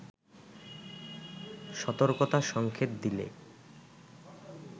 সতর্কতা সঙ্কেত দিলে